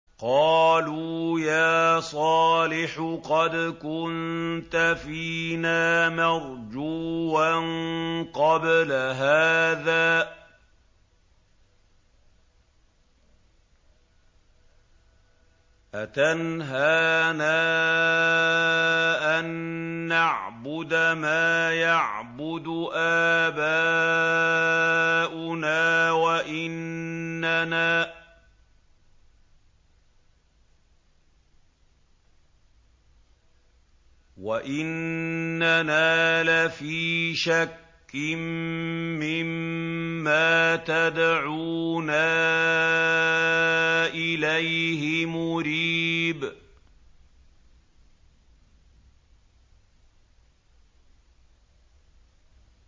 قَالُوا يَا صَالِحُ قَدْ كُنتَ فِينَا مَرْجُوًّا قَبْلَ هَٰذَا ۖ أَتَنْهَانَا أَن نَّعْبُدَ مَا يَعْبُدُ آبَاؤُنَا وَإِنَّنَا لَفِي شَكٍّ مِّمَّا تَدْعُونَا إِلَيْهِ مُرِيبٍ